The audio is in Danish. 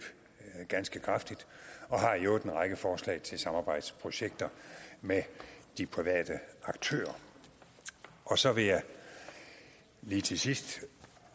ganske kraftigt og har i øvrigt en række forslag til samarbejdsprojekter med de private aktører og så vil jeg lige til sidst